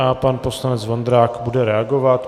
A pan poslanec Vondrák bude reagovat.